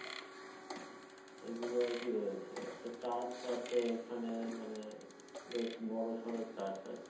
এইগুলো আরকি রয়েছে একটা church আছে ওখানে মানে বেশ বড় সড় church আরকি।